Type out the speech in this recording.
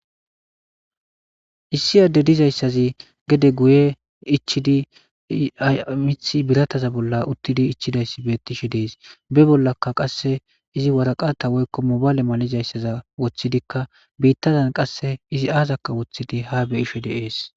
Issi ade dizaysazi gede guye ichidi mithi birataza bolla utidi ichidaysi betishe des be bollaka qase izi warqata woyko mobale malizaysa wothidika bitazan qase izi azako wothidi ha beyishe de'es